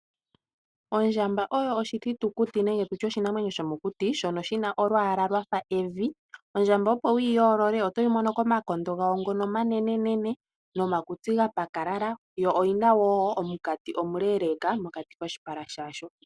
Ondjamba oyo oshithitukuti nenge tu tye oshinamwenyo shomokuti, shono shi na olwaala lwa fa evi. Ondjamba opo wu yi yoolole, oto yi mono komakondo gawo ngono omanenenene nomakutsi ga pakalala, yo oyi na wo omunkati omuleeleeka mokati koshipala shayo.